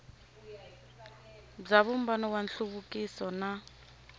bya vumbano wa nhluvukiso na